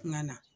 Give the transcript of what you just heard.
Ŋa na